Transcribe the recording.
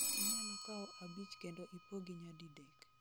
inyalo kawo abich kendo ipogi nyadidek